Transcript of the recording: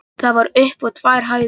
Það var upp á tvær hæðir.